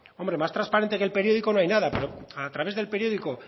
hombre más transparente que el periódico no hay nada pero a través del periódico